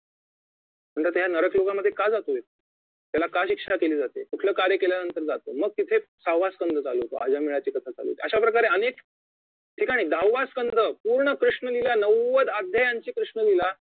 नंतर तो नरक लोकात का जातोय त्याला का शिक्षा केली जाते कुठलं कार्य केल्यानंतर जातो मग तिथे सहाव्वा संघ चालू होतो अजानमेळ्याची कथा चालू होते अशाप्रकारे अनेक ठिकाणी दहाव्या संघ पूर्ण कृष्णलीला नव्वद अध्यायांची कृष्णलीला